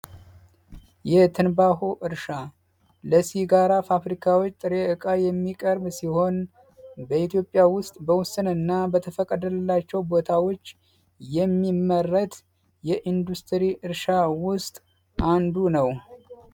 የትንባሆ እርሻ ጋራ ፋብሪካዎች ጥሪ እቃ የሚቀርብ ሲሆን በኢትዮጵያ ውስጥ በወሰን እና በተፈቀደላቸው ቦታዎች የሚመረት የኢንዱስትሪ እርሻ ውስጥ አንዱ ነው